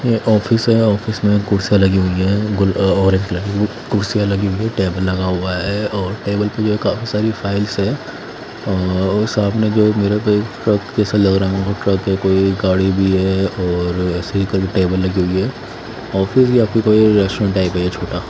ये ऑफिस है ऑफिस में कुर्सियाँ लगी हुई है और कुर्सियाँ लगी हुई हैं टेबल लगा हुआ है और टेबल पे ये काफी सारी फाइल्स हैं और सामने जो मिरर पे ट्रक जैसा लग रहा है ट्रक है कोई गाड़ी भी है और ऐसे ही कई टेबल लगी हुई है ऑफिस या फिर कोई रेस्टोरेंट टाइप है ये छोटा।